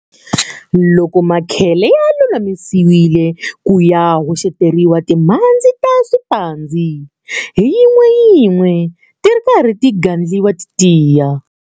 Loko makhele ya lulamisiwile ku ya hoxeteriwa timhandzi ta swiphandzi hi yin'weyin'we ti ri karhi ti gandliwa ti tiya.